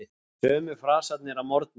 Sömu frasarnir að morgni.